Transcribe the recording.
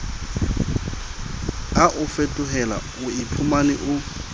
a o fetohela oiphumane o